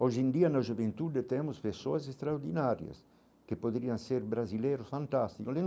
Hoje em dia na juventude temos pessoas extraordinárias, que poderiam ser brasileiros fantásticos.